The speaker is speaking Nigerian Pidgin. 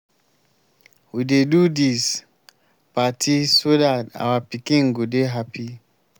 we dey do dis party so dat our pikin go dey happy